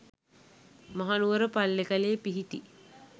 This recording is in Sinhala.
මහනුවර පල්ලේකැලේ පිහිටි